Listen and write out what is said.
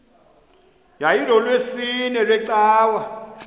yayilolwesine iwe cawa